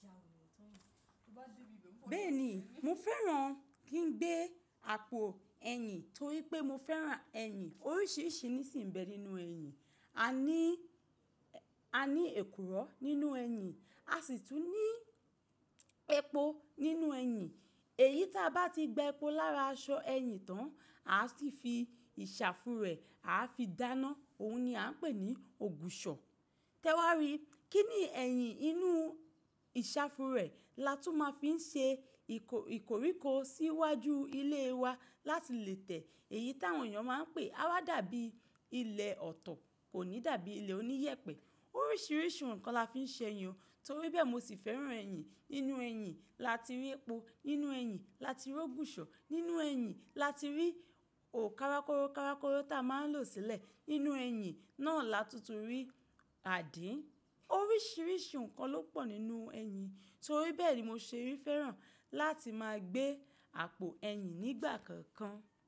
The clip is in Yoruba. Bẹ́ẹ̀ ni, mo fẹ́ràn kí n gbé àpò ẹyìn torí pé mo fẹ́ràn ẹyìn. Oríṣìíríṣìí nìsìnbẹ nínú ẹyìn. A ní, a ní èkùrọ́ nínú ẹyìn, a sì tún ní epo nínú ẹyìn. Èyí tí a bá ti gba epo lára aṣọ ẹyìn tán, a sì fi ìsàfúrẹ̀, a fi dáná, òun ni a ń pè ní Ògùṣọ̀. Tẹ́wọrí, kí ni ẹ̀yìn inú ìsàfúrẹ̀ la tún máa fi ń ṣe ìkò-ìkòríko sí iwájú ilé wa láti lẹ́tẹ̀. Èyí táwọn èèyàn máa ń pè, á wá dàbí ilẹ̀ ọ̀tọ̀, kò ní dàbí ilé oníyẹ̀pẹ̀. Oríṣìíríṣìí ǹkan la fi ń ṣe yan, torí bẹ́ẹ̀ mo sì fẹ́ràn ẹ̀yìn. Nínú ẹyìn la ti rí epo, nínú ẹyìn la ti rí Ògùṣọ̀, nínú ẹyìn la ti rí ò karakoro karakoro tí a máa ń lò sílẹ̀, nínú ẹyìn náà la tuntun rí àdí. Oríṣìíríṣìí ǹkan ló pọ̀ nínú ẹyìn. Torí bẹ́ẹ̀ ni mo ṣe rí fẹ́ràn láti máa gbé àpò ẹyìn nígbà kankan.